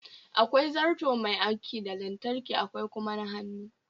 Akwai zarto Mai aiki da lantarki akwai kuma na hannu